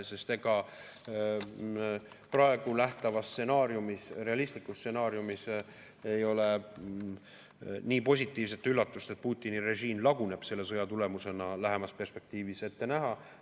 Sest ega praegu nähtavas stsenaariumis, realistlikus stsenaariumis ei ole nii positiivset üllatust, et Putini režiim laguneb selle sõja tulemusena, lähemas perspektiivis ette näha.